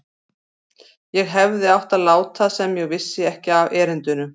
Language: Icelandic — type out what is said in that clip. Ég hefði átt að láta sem ég vissi ekki af erindinu.